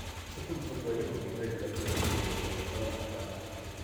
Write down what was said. Cukuru tũrugagĩrwo gĩtheri na tũgekĩrĩrwo maguta ma tawa.